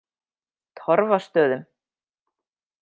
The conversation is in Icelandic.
Torfastöðum